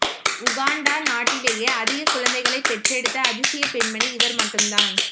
Uganda நாட்டிலேயே அதிக குழந்தைகளை பெற்றெடுத்த அதிசய பெண்மணி இவர் மட்டு தான்